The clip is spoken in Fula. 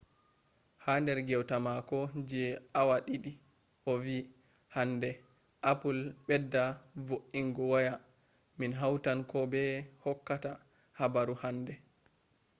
ha der gewta mako je awa didi o vi hande apple bedda vo’inga waya min hautan ko be hokkata habaru hande